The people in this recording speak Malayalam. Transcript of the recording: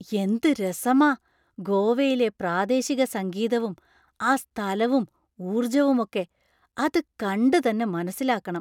എന്ത് രസമാ ഗോവയിലെ പ്രാദേശിക സംഗീതവും ആ സ്ഥലവും ഊർജ്ജവുമൊക്കെ, അത് കണ്ട് തന്നെ മനസിലാക്കണം.